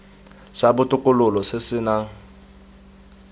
sa botokololo se se nang